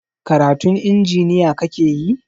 Karatun injiniya kakeyi?